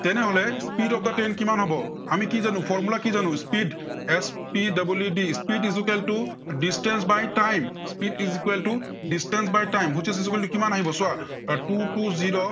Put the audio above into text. তেনেহলে speed of the train কিমান হব? আমি কি জানো? formula কি জানো? speed S P double E D, speed equal to distance by time. speed equal to distance by time. which is equal to কিমান আহিব চোৱা। two two zero